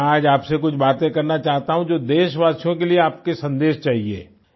तो मैं आज आपसे कुछ बातें करना चाहता हूँ जो देशवासियो के लिए आपका संदेश चाहिए